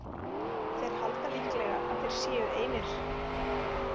Þeir halda líklega að þeir séu einir.